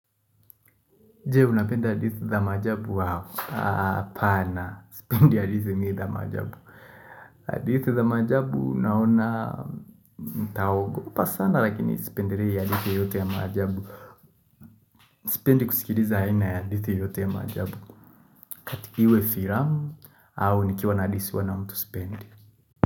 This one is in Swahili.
Je, unapenda hadithi za maajabu wow? Apana, spendi hadithi mi za majabu. Hadithi za majabu naona nitaogopa sana, lakini sipendelei hadithi yoyote ya majabu. Sipendi kusikiliza aina ya hadithi yoyote ya majabu. Iwe filamu au nikiwa na hadithiwa na mtu sipendi.